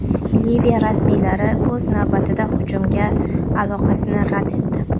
Liviya rasmiylari, o‘z navbatida, hujumga aloqasini rad etdi.